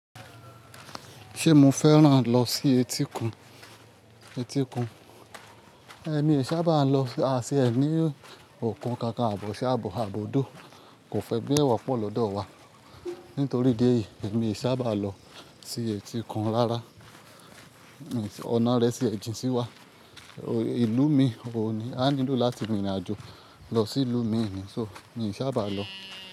Ṣé mo fẹ́ràn lọ sí etíkun? Etíkun. Mi ṣá bá lọ, a ti e ní òkun kankan, àbi oṣá, àbi òdó kò fẹ́ bí ẹ wọ́pọ̀ lọ́dọ̀ wa. Nítorí idi èyí èmi n saba lọ sí etikun rárá. Ọ̀nà rẹ̀ sì ẹ̀ jìn sí wa. Ìlú mi òun ní, a nílò láti rin ìrìnàjò lọ sí ìlú mi nì. So, mi ì ṣá bá lọ.